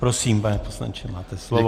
Prosím, pane poslanče, máte slovo.